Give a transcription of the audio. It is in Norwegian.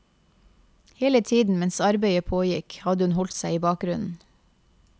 Hele tiden mens arbeidet pågikk hadde hun holdt seg i bakgrunnen.